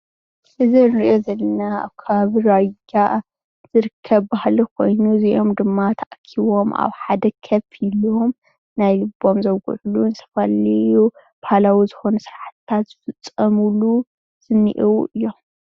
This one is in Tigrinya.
እዚ እንሪኦ ዘለና ኣብ ከባቢ ራያ ዝርከብ በሃሊ ኮይኑ እዚኦም ድማ ተኣኪቦም ኣብ ሓደ ኮፍ ኢሎም ናይ ልቦም ዘውግዕሉን ዝተፈላለዩ ባህላዊ ዝኾኑ ሰራሕትታት ዝፍፀምሉ እኒሀው እዩ።